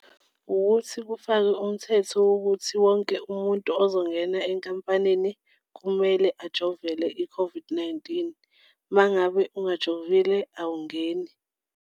Wukuthi kufakwe umthetho wokuthi wonke umuntu ozongena enkampanini kumele ajovele i-COVID-19 uma ngabe ungajovile, awungeni.